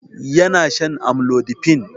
Yana shan amlodipine